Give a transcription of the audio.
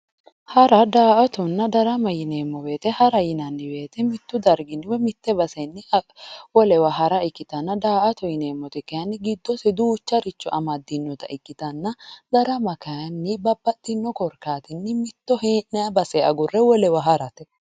hara daa''atonna darama yineemmo woyiite hara yinanni woyiite mitu darginni woyi mittu bayiichinni wolewa hara ikkitanna daa''ata yineemmoti kayeenni giddose duucharicho amaddinota ikkitanna darama kayeeenni babbaxxino korkaatinni mitto hee'nayi base agurre wolewa harate